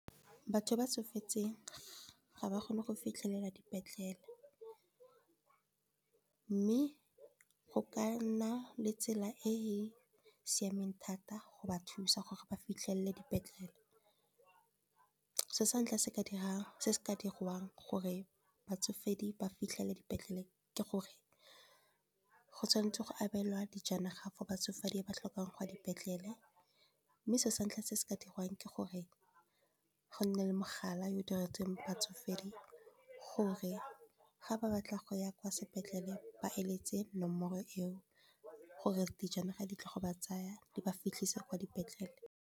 Batho ba tsofetseng ga ba kgone go fitlhelela dipetlele, mme go ka nna le tsela e e siameng thata go ba thusa gore ba fitlhelele dipetlele. So sa ntlha se se ka diriwang gore batsofe ba fitlhelele dipetlele ke gore, go tshwanetse go abelwa dijanaga for batsofe di ba tlhokang go ya dipetlele. Mme selo sa ntlha se se ka dirwang ke gore, go nne le mogala yo diretsweng batsofe gore ga ba batla go ya kwa sepetlele, ba eletse nomoro eo. Gore dijanaga di tle go ba tsaya, di ba fitlhise kwa dipetlele.